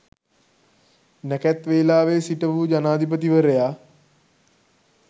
නැකැත් වේලාවෙ සිටවූ ජනාධිපතිවරයා